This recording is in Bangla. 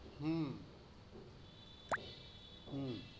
হু, হু